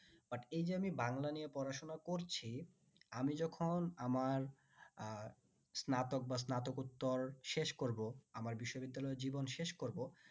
but এই যে আমি বাংলা নিয়ে পড়াশোনা করছি আমি যখন আমার আহ স্নাতক বা স্নাতকোত্তর শেষ করবো আমার বিশ্ববিদ্যালয় জীবন শেষ করবো